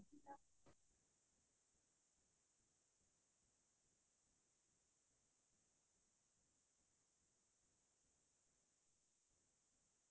কিতাপ পঢ়িছিলো সেই lockdown ৰ সময় খিনিত মই বহুত কিতাপ পঢ়িছিলো সেইতো মই মানে নিজৰ আ ভাল অভিজ্ঞতা আৰু